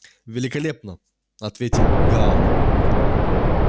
великолепно ответил гаал